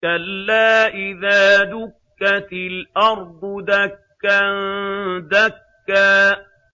كَلَّا إِذَا دُكَّتِ الْأَرْضُ دَكًّا دَكًّا